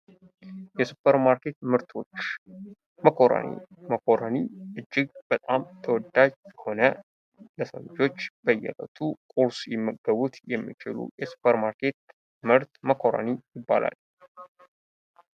የ ሱፐር ማርኬት መርቶች መኮረኒ እጅግ በጣም ተወዳጅ የሆነ ለሰው ልጆች በየዕለቱ ቁርስ ላይ ሊመገቡት የሚችሉ ሱፐር ማርኬት ምርት መኮረኒ ይባላል።